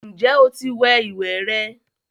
Ǹjẹ́ o ti wẹ ìwẹ̀ rẹ?